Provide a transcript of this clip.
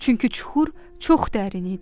Çünki çuxur çox dərin idi.